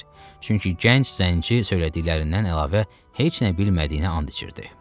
Çünki gənc zənci söylədiklərindən əlavə heç nə bilmədiyinə and içirdi.